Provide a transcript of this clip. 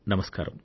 నమస్కారం